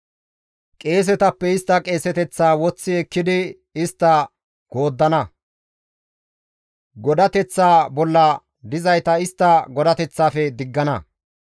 Qeesetappe istta qeeseteththaa woththi ekkidi istta gooddana; godateththa bolla dizayta istta godateththafe diggana.